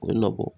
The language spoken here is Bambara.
O na bɔ